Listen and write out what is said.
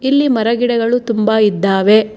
ಇಲ್ಲಿ ಮರ ಗಿಡಗಳು ತುಂಬಾ ಇದ್ದಾವೆ.